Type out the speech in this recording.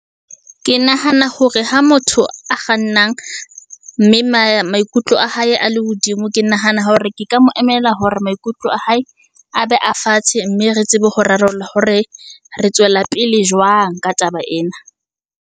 Ke nahana hore ha motho a kgannang, mme maikutlo a hae a le hodimo, ke nahana hore ke ka mo emela hore maikutlo a hae, a be a fatshe. Mme re tsebe ho rarolla hore re tswela pele jwang ka taba ena.